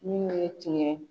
Minnuw ye tiɲɛ